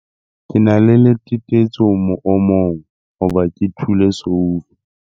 Ke na le letetetso moomong hoba ke thule soufa.